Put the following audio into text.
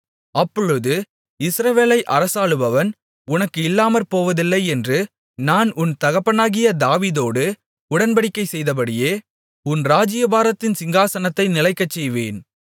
அப்பொழுது இஸ்ரவேலை அரசாளுபவன் உனக்கு இல்லாமற்போவதில்லை என்று நான் உன் தகப்பனாகிய தாவீதோடு உடன்படிக்கை செய்தபடியே உன் ராஜ்யபாரத்தின் சிங்காசனத்தை நிலைக்கச்செய்வேன்